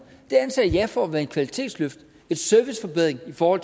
det anser jeg for at være et kvalitetsløft og en serviceforbedring for